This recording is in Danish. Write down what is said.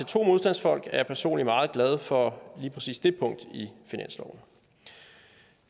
to modstandsfolk er jeg personligt meget glad for lige præcis det punkt i finansloven